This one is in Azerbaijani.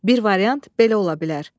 Bir variant belə ola bilər.